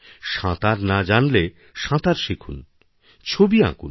সাঁতার না জানলে সাঁতার শিখুন ছবি আঁকুন